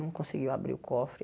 Não conseguiu abrir o cofre.